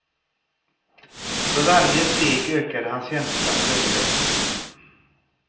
För varje steg ökade hans känsla av överlägsenhet.